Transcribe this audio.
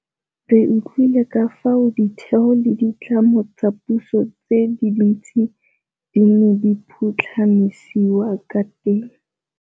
Re utlwile ka fao ditheo le ditlamo tsa puso tse dintsi di neng di phutlhamisiwa ka teng.